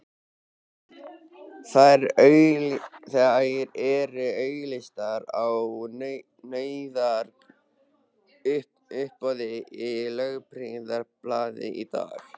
Þær eru auglýstar á nauðungaruppboði í Lögbirtingablaðinu í dag!